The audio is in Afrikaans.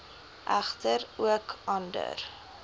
egter ook ander